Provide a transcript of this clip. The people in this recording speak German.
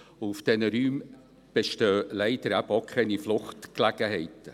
Auf diesen Räumen bestehen eben leider auch keine Fluchtgelegenheiten.